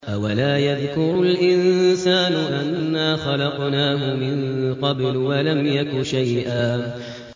أَوَلَا يَذْكُرُ الْإِنسَانُ أَنَّا خَلَقْنَاهُ مِن قَبْلُ وَلَمْ يَكُ شَيْئًا